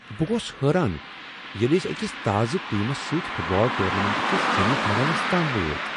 بہٕ گووس حیران ییٚلہ أسۍ أکس تازٕ ٹیمس سۭتۍ فٹ بال ٹورنامنٹ کس سیمی فاینلس تام وٲتۍ۔